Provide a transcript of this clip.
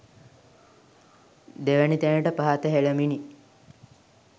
දෙවැනි තැනට පහත හෙළමිනි.